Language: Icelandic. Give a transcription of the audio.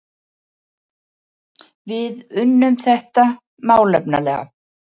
Við unnum þetta málefnalega